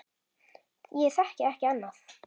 Ég þekki ekki annað.